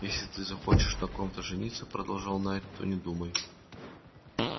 если ты захочешь на ком-то жениться продолжал найд то не думай